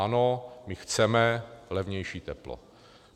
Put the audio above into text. Ano, my chceme levnější teplo.